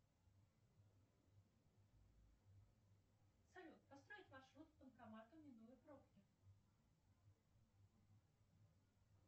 салют построить маршрут к банкомату минуя пробки